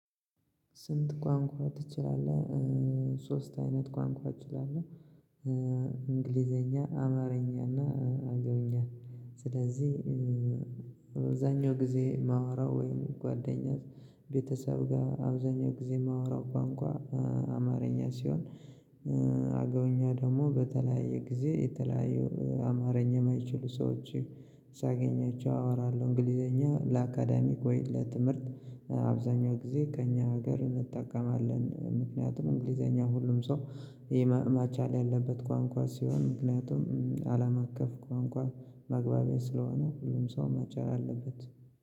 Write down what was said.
ስንት ቋንቋ ትችላለህ? ሶስት አይነት ቋንቋ እችላለሁ እንግሊዘኛ አማርኛና አገውኛ ስለዚህ አዛኛው ጊዜ የማወራው ወይም ጓደኛ ቤተሰብ ጋር አብዛኛው ጊዜ ማውራው ቋንቋ አማርኛ ሲሆን አገውኛው ደግሞ በተለያየ ጊዜ የተለያየ አማርኛ የማይችሉ ሰዎች ሳገኛቸው አወራለሁ እንግሊዘኛ ለአካዳሚክ ወይ ለትምህርት አብዛኛው ጊዜ ከእኛ ሀገር እንጠቀማለን ምክንያቱም እንግሊዘኛ ሁሉም ሰው መቻል ያለበት ቋንቋ ሲሆን ምክንያቱም አለም አቀፍ ቋንቋ መግባቢያ ስለሆነ ሁሉም ሰው መቻል አለበት